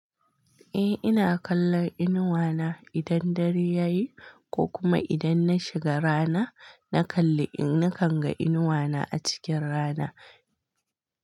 Eh ina kallon inuwa na idan dare yayi ko kuma idan na shiga rana, na kalli in-- nakan ga inuwa na a cikin rana.